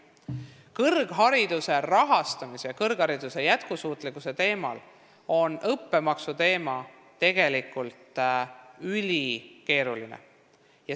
Kõrghariduse rahastamise ja kõrghariduse jätkusuutlikkuse mõttes on õppemaksu teema tegelikult ülikeeruline.